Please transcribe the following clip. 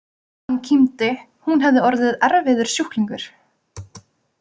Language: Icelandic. Hann kímdi: Hún hefði orðið erfiður sjúklingur.